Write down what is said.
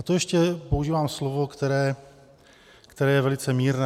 A to ještě používám slovo, které je velice mírné.